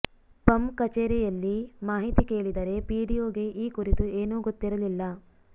ಪಂ ಕಚೇರಿಯಲ್ಲಿ ಮಾಹಿತಿ ಕೇಳಿದರೆ ಪಿಡಿಓಗೆ ಈ ಕುರಿತು ಏನೂ ಗೊತ್ತಿರಲಿಲ್ಲ